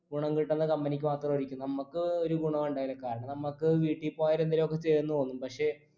ഗുണം കിട്ടുന്നെ company ക്ക് മാത്രായിരിക്കും നമുക്ക് ഒരു ഗുണോ ഉണ്ടാവില്ല കാരണം നമ്മക്ക് വീട്ടിപ്പോയ എന്തേലു ഒക്കെ ചെയ്യാൻ തോന്നു പക്ഷേ